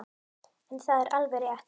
En er það alveg rétt?